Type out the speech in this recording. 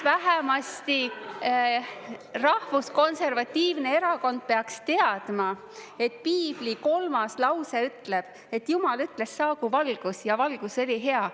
Rahvuskonservatiivne erakond peaks teadma, et Piibli kolmas lause ütleb, et Jumal ütles, saagu valgus, ja valgus oli hea.